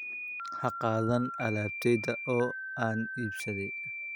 Ha qaadan alaabtayda oo aan iibsaday